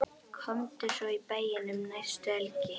Komdu svo í bæinn um næstu helgi.